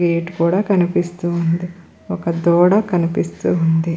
Gate కూడా కనిపిస్తూ ఉంది ఒక దూడ కనిపిస్తూ ఉంది.